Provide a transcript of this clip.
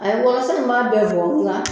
Ayi ye wɔlɔlɔ in b'a bɛɛ bɔ nka